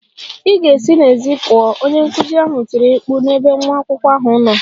Ị ga-esi n'èzí pụọ! Onye nkuzi ahụ tiri mkpu n'ebe nwa akwụkwọ ahụ nọ.